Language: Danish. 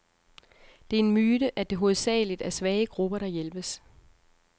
Det er en myte, at det hovedsageligt er svage grupper, der hjælpes.